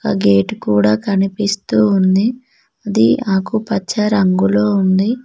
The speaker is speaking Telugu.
ఆ గేటు కూడ కనిపిస్తూ ఉంది అది ఆకుపచ్చ రంగులో ఉంది.